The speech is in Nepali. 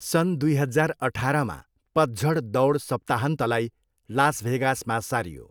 सन् दुई हजार अठारमा पतझड दौड सप्ताहन्तलाई लास भेगासमा सारियो।